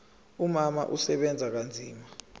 umama usebenza kanzima